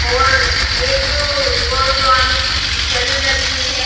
और एक गोस्वामी की पिक्चर भी लगी हुई है।